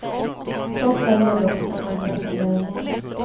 Så följer dock den andre säljaren med.